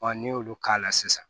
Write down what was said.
n'i y'olu k'a la sisan